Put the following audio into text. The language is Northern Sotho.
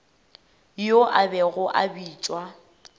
yo a bego a bitšwa